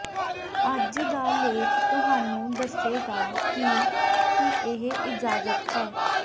ਅੱਜ ਦਾ ਲੇਖ ਤੁਹਾਨੂੰ ਦੱਸੇਗਾ ਕਿ ਕੀ ਇਹ ਇਜਾਜ਼ਤ ਹੈ